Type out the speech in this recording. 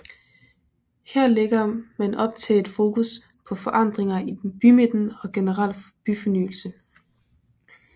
Her lægger man op til et fokus på forandringer i bymidten og generel byfornyelse